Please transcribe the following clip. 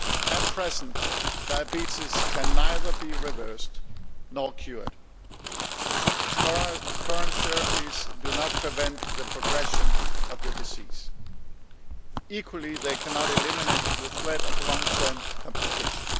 At present, diabetes can be neither reversed nor cured. Current therapies do not prevent the progression of the disease. Equally they cannot eliminate the threat of long term complications.